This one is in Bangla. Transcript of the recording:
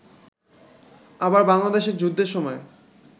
আবার বাংলাদেশের যুদ্ধের সময়